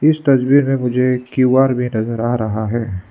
इस तस्वीर में मुझे क्यू_आर भी नजर आ रहा है।